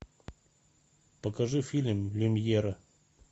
покажи фильм люмьера